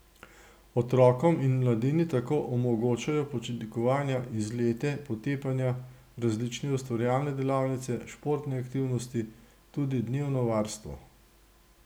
Otrokom in mladini tako omogočajo počitnikovanja, izlete, potepanja, različne ustvarjalne delavnice, športne aktivnosti, tudi dnevno varstvo.